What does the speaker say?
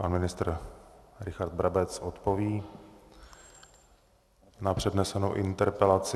Pan ministr Richard Brabec odpoví na přednesenou interpelaci.